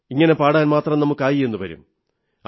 ഇങ്ങനെ പാടാൻ മാത്രം നമുക്കായെന്നു വരും